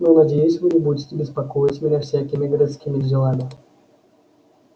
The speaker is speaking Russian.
но надеюсь вы не будете беспокоить меня всякими городскими делами